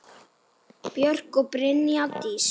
Björk og Brynja Dís.